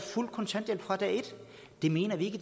fuld kontanthjælp fra dag et det mener vi ikke